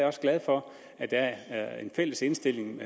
også glad for at der er er en fælles indstilling